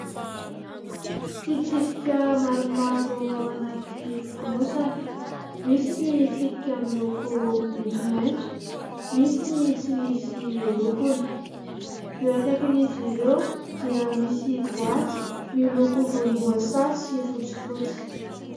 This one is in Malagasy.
Fitsipika maromaro ao anaty fonosana. Misy ny tsipika miloko maitsomaitso. Misy ny tsy misy lokony. Eo ankaikin' izy ireo dia misy boaty miloko volomboasary sy fotsy fotsy.